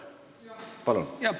Palun!